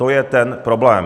To je ten problém.